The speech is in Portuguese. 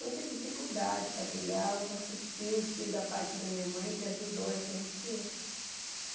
Muita dificuldade para criar, nossos tios, tios da parte da minha mãe que ajudou a gente que.